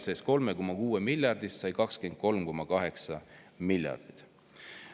Esialgsest 3,6 miljardist on saanud 23,8 miljardit.